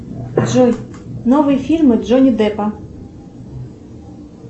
джой новые фильмы джони деппа